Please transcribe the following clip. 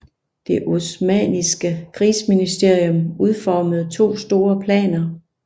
Det osmanniske krigsministerium udformede to store planer